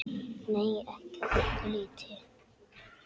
Nei, ekki að öllu leyti.